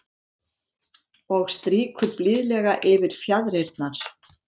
Og strýkur blíðlega yfir fjaðrirnar.